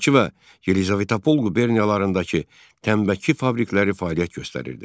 Bakı və Yelizavetpol quberniyalarındakı tütün fabrikələri fəaliyyət göstərirdi.